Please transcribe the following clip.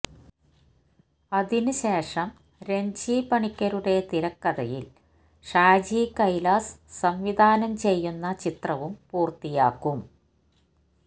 അതിന് ശേഷം രണ്ജി പണിക്കരുടെ തിരക്കഥയില് ഷാജി കൈലാസ് സംവിധാനം ചെയ്യുന്ന ചിത്രവും പൂര്ത്തിയാക്കും